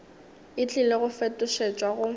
e tlile go fetošetšwa go